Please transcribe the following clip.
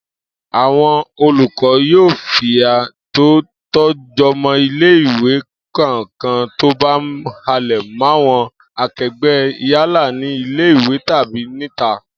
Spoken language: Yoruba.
Àwo̩n olùkó̩ yóò fìyà tó tó̩ jo̩mo̩ ilé-ìwé kankan tó bá ń halè̩ máwo̩n ake̩gbé̩ yálà nílé ìwé tàbí níta